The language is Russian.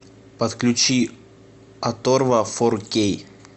подключи оторва фор кей